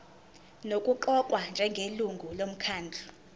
nokuqokwa njengelungu lomkhandlu